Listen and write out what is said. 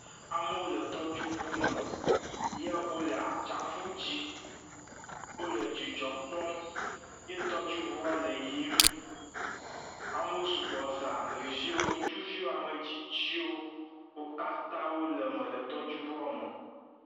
Amewo le tɔdziŋu me ye wole atsiƒu dzi, wole dzidzɔ kpɔm eye tɔdziŋua le yiyim, amewo sugbɔ za ɖeviwo, ŋutsuviwo ametsitsiwo, wo katã wole me le tɔdziŋua me.